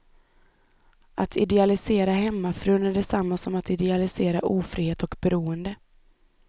Att idealisera hemmafrun är detsamma som att idealisera ofrihet och beroende.